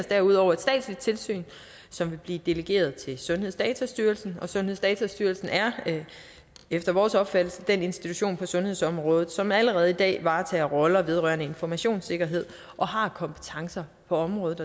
derudover et statsligt tilsyn som vil blive delegeret til sundhedsdatastyrelsen sundhedsdatastyrelsen er efter vores opfattelse den institution på sundhedsområdet som allerede i dag varetager roller vedrørende informationssikkerhed og har kompetencer på området